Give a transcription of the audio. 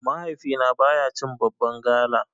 Mahaifina baya cin babban gala.